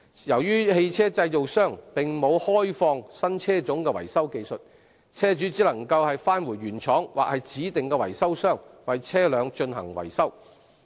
由於汽車製造商並沒有開放新車種的維修技術，車主只能返回原廠或指定的維修商為車輛進行維修。